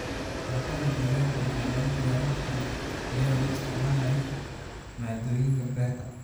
Cuntada deegaanka waxaa lagu diyaarin karaa iyadoo la isticmaalayo maaddooyinka beerta.